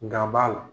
Ga b'a la